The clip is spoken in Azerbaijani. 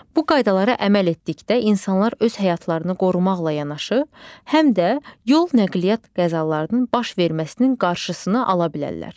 Bu qaydalara əməl etdikdə insanlar öz həyatlarını qorumaqla yanaşı, həm də yol nəqliyyat qəzalarının baş verməsinin qarşısını ala bilərlər.